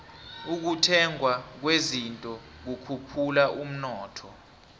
ukuthengwa kwezinto kukhuphula umnotho